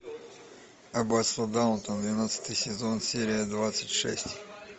аббатство даунтон двенадцатый сезон серия двадцать шесть